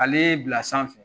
Ale bila sanfɛ